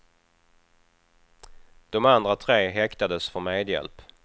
De andra tre häktades för medhjälp.